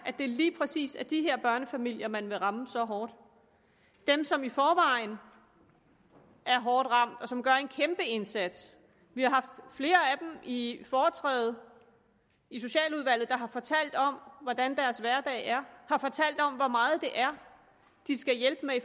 at det lige præcis er de her børnefamilier man vil ramme så hårdt dem som i forvejen er hårdt ramt og som gør en kæmpe indsats vi har haft flere af dem i foretræde i socialudvalget har fortalt om hvordan deres hverdag er har fortalt om hvor meget det er de skal hjælpe med